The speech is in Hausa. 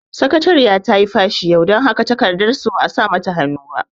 Sakatariya tayi fashi yau, dan haka takardar su ba a sawa hannu ba